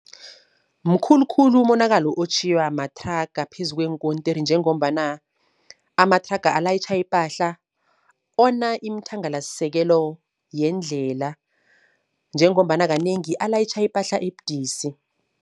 Mkhulukhulu umonakalo otjhiywa mathraga phezu kweenkontiri, njengombana amathraga alayitjha ipahla ona imithangalasisekelo yendlela. Njengombana kanengi alayitjha ipahla ebudisi.